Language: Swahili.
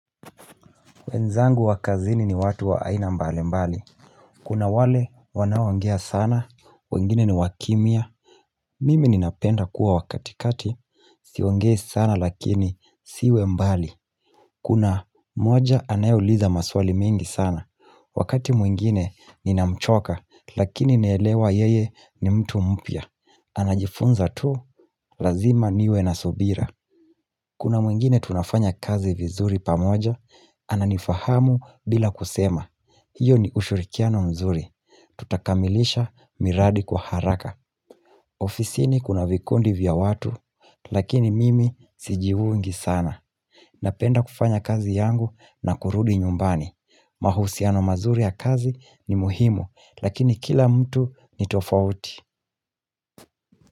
Wenzangu wa kazini ni watu wa aina mbali mbali. Kuna wale wanaongea sana, wengine ni wakimya. Mimi ninapenda kuwa wa katikati, siongei sana lakini siwe mbali. Kuna mmoja anayeuliza maswali mengi sana. Wakati mwingine ninamchoka lakini naelewa yeye ni mtu mpya. Anajifunza tu, lazima niwe nasubira. Kuna mwingine tunafanya kazi vizuri pamoja, ananifahamu bila kusema. Hiyo ni ushirikiano mzuri Tutakamilisha miradi kwa haraka ofisini kuna vikundi vya watu Lakini mimi sijiungi sana Napenda kufanya kazi yangu na kurudi nyumbani mahusiano mazuri ya kazi ni muhimu Lakini kila mtu ni tofauti.